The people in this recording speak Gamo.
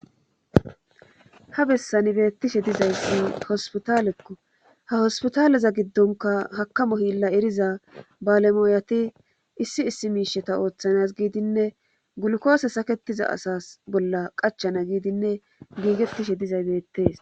Ha bessan beettishe dizayssi hospitalekko ha hospitaleza giddonkka hakamo.hilla eriza balemooyatii issi issi miishsheta ooththanas giidinne gulukoose saketiza asa bolla qachana giidinne giigettishe dizay beettees